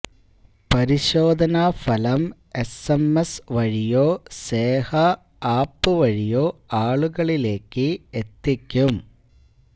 പരിശോധനാ ഫലം S M S വഴിയോ സേഹ ആപ്പ് വഴിയോ ആളുകളിലേക്ക് എത്തിക്കും